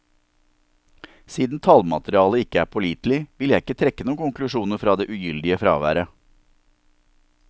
Siden tallmaterialet ikke er pålitelig, vil jeg ikke trekke noen konklusjoner fra det ugyldige fraværet.